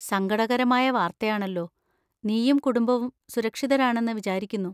സങ്കടകരമായ വാർത്തയാണല്ലോ, നീയും കുടുംബവും സുരക്ഷിതരാണെന്ന് വിചാരിക്കുന്നു.